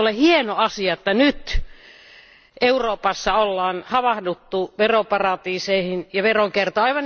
Eikö ole hieno asia, että nyt Euroopassa on havahduttu veroparatiiseihin ja veronkiertoon?